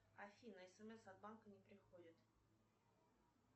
афина смс от банка не приходят